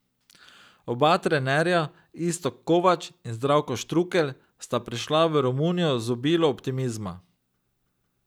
Oba trenerja, Iztok Kovač in Zdravko Štrukelj, sta prišla v Romunijo z obilo optimizma.